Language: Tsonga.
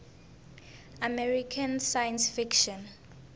american science fiction